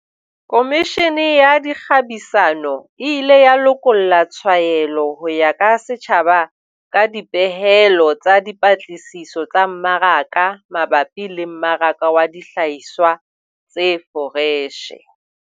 Komishene ya Dikgabisano e ile ya lokolla tshwaelo ho ya ka setjhaba ka dipehelo tsa dipatlisiso tsa mmaraka mabapi le mmaraka wa dihlahiswa tse foreshe.